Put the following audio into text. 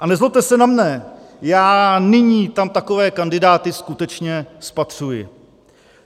A nezlobte se na mne, já nyní tam takové kandidáty skutečně spatřuji.